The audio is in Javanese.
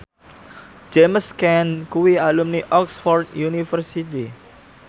James Caan kuwi alumni Oxford university